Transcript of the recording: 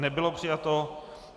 Nebylo přijato.